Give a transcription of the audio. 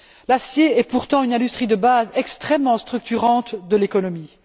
L'acier est pourtant une industrie de base extrêmement structurante de l'économie.